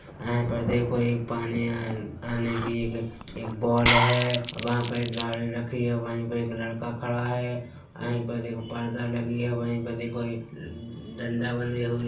यहाँ पर देखो एक पानी आने आने की एक बॉल है वहाँ पर एक गाड़ी रखी है वही पर एक लड़का खड़ा है वही पर देखो पर्दा लगी है वही पे देखो एक डंडा बने हुए --